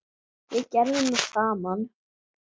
Við gerðum það saman.